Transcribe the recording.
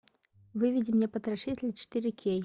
выведи мне потрошитель четыре кей